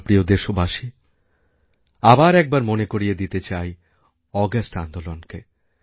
আমার প্রিয় দেশবাসী আবার একবার মনে করিয়ে দিতে চাই অগাস্ট আন্দোলনকে